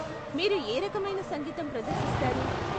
మీరు ఏ రకమైన సంగీతం ప్రదర్శిస్తారు?